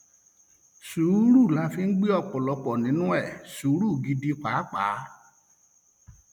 sùúrù la fi ń gbé ọpọlọpọ nínú ẹ sùúrù gidi pàápàá